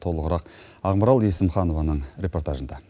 толығырақ ақмарал есімханованың репортажында